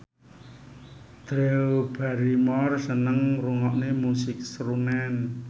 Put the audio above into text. Drew Barrymore seneng ngrungokne musik srunen